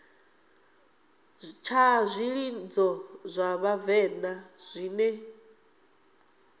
tsha zwilidzo zwa vhavenḓa zwine